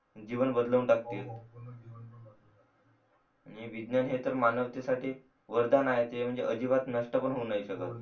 जीवन बदलून टाकतील आणि विज्ञान हे मानवता साठी वरदान आहे ते म्हणजे अजिबात नष्ट पण करू नाय शकत